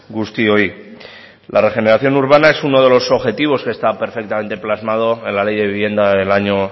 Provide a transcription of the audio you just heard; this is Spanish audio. guztioi la regeneración urbana es uno de los objetivos que está perfectamente plasmado en la ley de vivienda del año